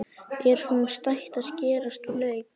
Er honum stætt á að skerast úr leik?